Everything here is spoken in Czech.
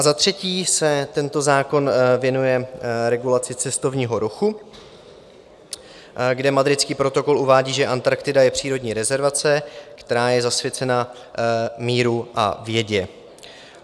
A za třetí se tento zákon věnuje regulaci cestovního ruchu, kde Madridský protokol uvádí, že Antarktida je přírodní rezervace, která je zasvěcena míru a vědě.